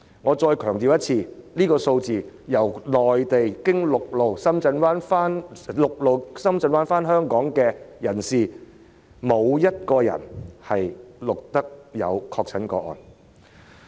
我再次強調，這是由內地循陸路經深圳灣口岸回港人士的數字，沒有一人確診。